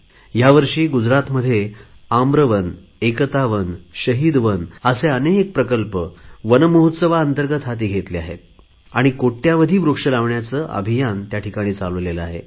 यावर्षी गुजरातमध्ये आम्रवन एकता वन शहीद वन असे अनेक प्रकल्प वनमहोत्सवाअंतर्गंत हाती घेतले आणि कोटयावधी वृक्ष लावण्याचे अभियान चालवले आहे